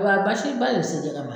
Wa a bɛ basi ba de se jɛgɛ ma.